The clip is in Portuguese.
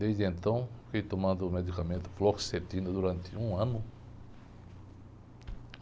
Desde então, fiquei tomando medicamento, fluoxetina, durante um ano.